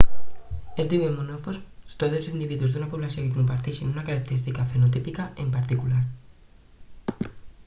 es diuen monomorfs tots els individus d'una població que comparteixen una característica fenotípica en particular